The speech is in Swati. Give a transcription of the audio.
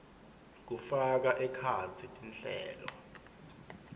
kufaka ekhatsi tinhlelo